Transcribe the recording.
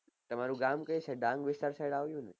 તમારું ગામ કયું છે ગામ વિસ્તાર સાઈડ આવ્યું